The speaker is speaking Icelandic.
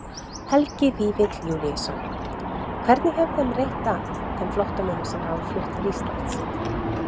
Helgi Vífill Júlíusson: Hvernig hefur þeim reitt af, þeim flóttamönnum sem hafa flutt til Íslands?